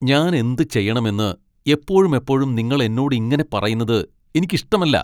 ഞാൻ എന്ത് ചെയ്യണമെന്ന് എപ്പോഴുമെപ്പോഴും നിങ്ങൾ എന്നോട് ഇങ്ങനെ പറയുന്നത് എനിക്ക് ഇഷ്ടമല്ല.